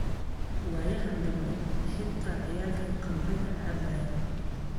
Waayahan dambe xita ciyalki kamriga cabayiin.